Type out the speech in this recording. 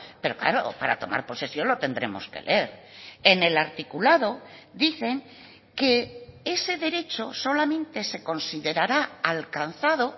pero claro para tomar posesión lo tendremos que leer en el articulado dicen que ese derecho solamente se considerará alcanzado